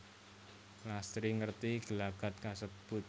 Lastri ngerti gelagat kasebut